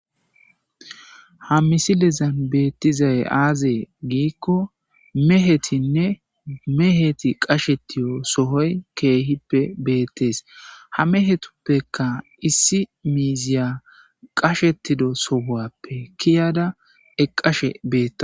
Ha misilezan beettizay azee gikko mehetinne mehetti qashettiyo sohoy keehippe beettes ha meehetupekka issi miiziya qashshetido sohuwappe keyada eqqashe beetawus